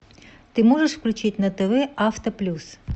ты можешь включить на тв авто плюс